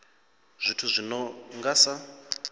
zwithu zwi no nga sa